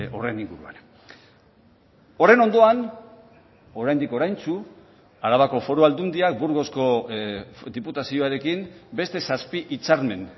horren inguruan horren ondoan oraindik oraintsu arabako foru aldundiak burgosko diputazioarekin beste zazpi hitzarmen